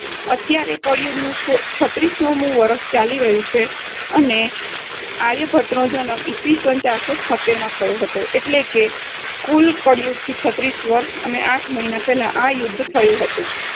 અત્યારે કળિયુગનું સો~ છત્રીસોમુ વર્ષચાલી રહ્યું છે અને આર્યભટ્ટનો જન્મ ઈસ્વીસન ચારસો છોત્તેરમાં થયો હતો. એટલે કે કુલ કળિયુગથી છત્રીસ વર્ષ અને આઠ મહિના પહેલાં આ યુદ્ધ થયુ હતું.